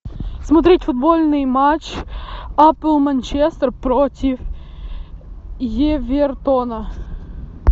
смотреть футбольный матч апл манчестер против эвертона